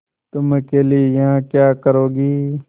तुम अकेली यहाँ क्या करोगी